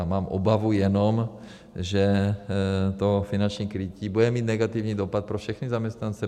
A mám obavu jenom, že to finanční krytí bude mít negativní dopad pro všechny zaměstnance.